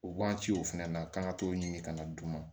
O waagati o fɛnɛ na k'an ka t'o ɲini ka na d'u ma